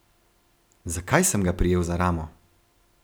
Zakaj sem ga prijel za ramo?